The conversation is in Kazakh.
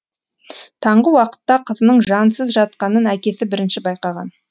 таңғы уақытта қызының жансыз жатқанын әкесі бірінші байқаған